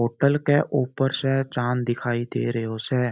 होटल के ऊपर से चाँद दिखाई दे रैयो से।